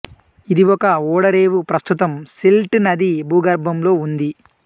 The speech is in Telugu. ఇది ఒక ఓడరేవు ప్రస్తుతం సిల్ట్ నది భూగర్భంలో ఉంది